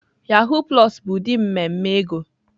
Yahoo plus bụ ụdị mmemme ego.